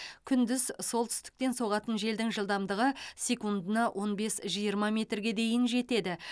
күндіз солтүстіктен соғатын желдің жылдамдығы секундына он бес жиырма метрге дейін жетеді